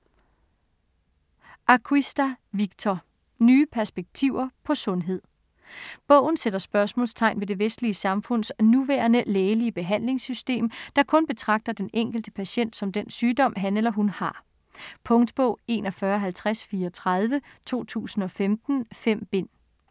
Acquista, Victor: Nye perspektiver på sundhed Bogen sætter spørgsmålstegn ved det vestlige samfunds nuværende lægelige behandlingssystem, der kun betragter den enkelte patient som den sygdom, han eller hun har. Punktbog 415034 2015. 5 bind.